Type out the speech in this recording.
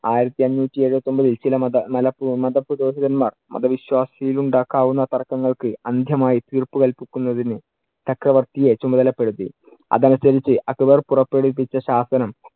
ആയിരത്തി അഞ്ഞൂറ്റി എഴുപത്തിയൊമ്പതിൽ ചില മത മല~ മത പുരോഹിതന്മാർ മതവിശ്വാസിയിൽ ഉണ്ടാക്കാവുന്ന തർക്കങ്ങൾക്ക് അന്ധ്യമായി തീർപ്പു കല്പിക്കുന്നതിന് ചക്രവർത്തിയെ ചുമതലപ്പെടുത്തി. അത് അനുസരിച്ച് അക്ബർ പുറപ്പെടുവിപ്പിച്ച ശാസനം